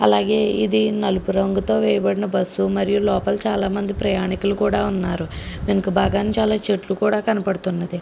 అలాగే ఇది నలుపు రంగుతో వేయబడిన బస్సు మరియు లోపల చాలామంది ప్రయాణికులు కూడా ఉన్నారు వెనుక భాగం చాలా చెట్లు కూడా కనబడుతున్నవి.